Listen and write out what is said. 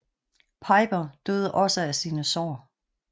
Piper døde også af sine sår